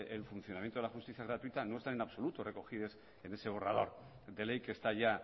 el funcionamiento de la justicia gratuita no está en absoluta recogido en ese borrador de ley que está ya